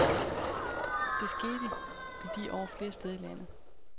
Det skete i de år flere steder i landet.